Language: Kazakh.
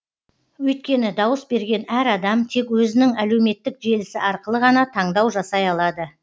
өйткені дауыс берген әр адам тек өзінің әлеуметтік желісі арқылы ғана таңдау жасай алады